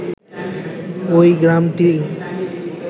ওই গ্রামটি